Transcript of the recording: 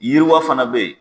Yiriwa fana bɛ ye.